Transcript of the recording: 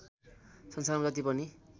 संसारमा जति पनि